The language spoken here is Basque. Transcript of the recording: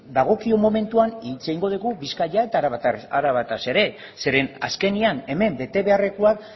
dagokion momentuan hitz egingo dugu bizkaia eta arabaz ere zeren eta azkenean hemen bete beharrekoak